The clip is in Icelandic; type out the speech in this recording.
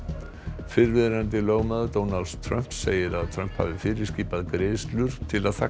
fyrrverandi lögmaður Donalds Trumps segir að Trump hafi fyrirskipað greiðslur til að þagga